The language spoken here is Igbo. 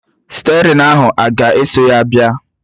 Stịerịn ahụ a ga-eso ya bịa?